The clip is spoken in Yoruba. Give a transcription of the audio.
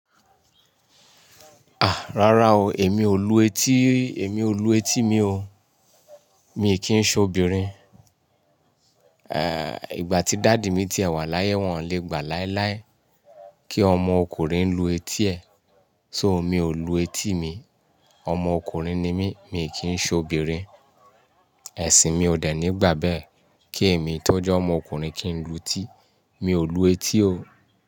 Rárá o èmi ò lu etí rí, èmi ò lu etí mi, mi kìn ṣe obìnrin. Eh, ìgbà tí dàdì mi ti wà láyé, wọ́n ò le gbà láíláí kí ọmọ ọkùnrin lu etí ẹ. So mi ò lu etí mi. Ọmọ ọkùnrin ni mí, mi ò kìn ṣe obìnrin ẹ̀sìn mi ò dẹ̀ ní gbà bẹ́ẹ̀, kí èmi tójẹ́ ọmọ ọkùnrin kí n lu ti. Mi ò lu etí o.